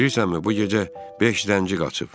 Bilirsənmi, bu gecə beş zənci qaçıb?